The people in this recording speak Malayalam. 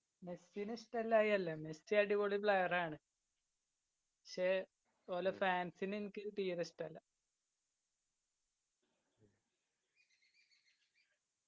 മെസ്സിന ഇഷ്ടായിയായല്ല മെസ്സി അടിപൊളി player ആണ്. പക്ഷെ ഓലെ fans നെ ഇൻക് തീരെ ഇഷ്ടല്ല